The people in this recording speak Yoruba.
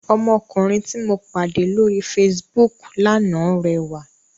Ọmọkùnrin tí mo pàdé lóri Facebook lánàá rẹwà.